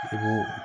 I b'o